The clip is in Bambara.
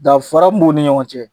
Danfara mun b'u ni ɲɔgɔn cɛ